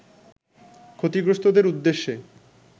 ক্ষতিগ্রস্থদের উদ্দেশ্যে